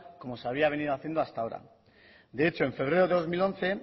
como se había venido haciendo hasta ahora de hecho en febrero de dos mil once